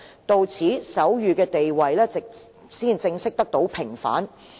到此，手語的地位才正式得到平反。